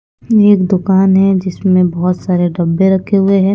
एक दुकान है जिसमें बहुत सारे डब्बे रखे हुए हैं।